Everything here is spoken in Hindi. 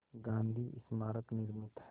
गांधी स्मारक निर्मित है